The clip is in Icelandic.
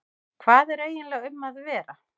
Hvað er eiginlega um að vera?